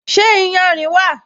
Ṣé iyanrìn wà?